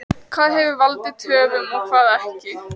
Hvað hefur valdið töfum og hvað ekki?